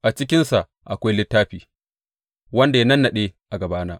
A cikinsa akwai littafi, wanda ya nannaɗe a gabana.